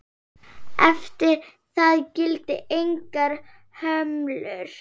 Eftir það gilda engar hömlur.